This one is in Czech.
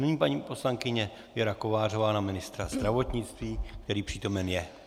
Nyní paní poslankyně Věra Kovářová na ministra zdravotnictví, který přítomen je.